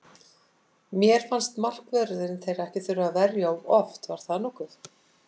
Helst af báti, með höfrunga sér við hlið.